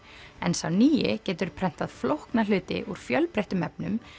en sá nýi getur prentað flókna hluti úr fjölbreyttum efnum